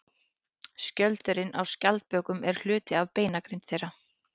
Skjöldurinn á skjaldbökum er hluti af beinagrind þeirra.